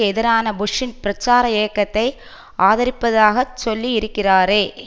எதிரான புஷ்ஷின் பிரச்சார இயக்கத்தை ஆதரிப்பதாகச் சொல்லி இருக்கிறாரே